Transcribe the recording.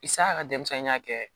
Isa ka denmisɛnninya kɛ